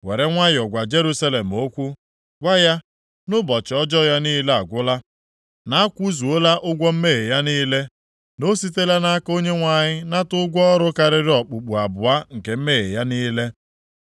Were nwayọọ gwa Jerusalem okwu, gwa ya; na ụbọchị ọjọọ ya niile agwụla, na a kwụzuola ụgwọ mmehie ya niile, na o sitela nʼaka Onyenwe anyị nata ụgwọ ọrụ karịrị okpukpu abụọ nke mmehie ya niile.